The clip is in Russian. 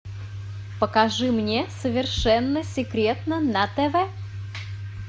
покажи мне совершенно секретно на тв